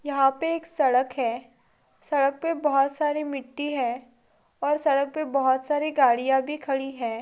यहाँ पे एक सड़क है सड़क पे बहुत सारी मिट्टी है और सड़क पे बहुत सारी गाड़िया भी खड़ी है।